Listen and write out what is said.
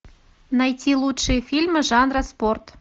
найти лучшие фильмы жанра спорт